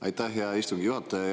Aitäh, hea istungi juhataja!